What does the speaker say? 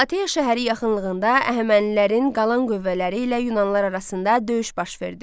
Plateya şəhəri yaxınlığında Əhəmənilərin qalan qüvvələri ilə yunanlılar arasında döyüş baş verdi.